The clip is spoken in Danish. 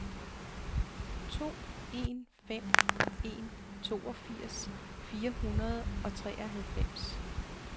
to en fem en toogfirs fire hundrede og treoghalvfems